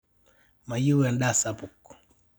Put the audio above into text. mayieu endaa sapuk